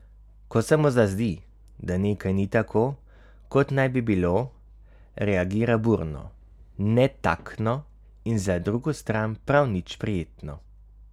Ko se mu zazdi, da nekaj ni tako, kot naj bi bilo, reagira burno, netaktno in za drugo stran prav nič prijetno.